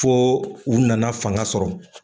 Fo u nana fanga sɔrɔ.